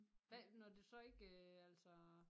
Hvad når du så ikke altså